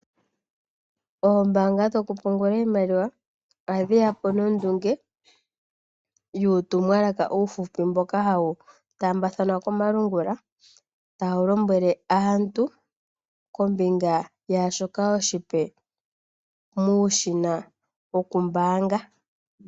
Oombaanga dhokupungula iimaliwa odheya po nondunge yokutuma uutumwalaka uuhupi mboka hawu taambathanwa komalungula, tawu lombwele aantu shoka oshipe muushina wokumbaanga.